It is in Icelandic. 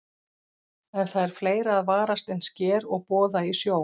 En það er fleira að varast en sker og boða í sjó.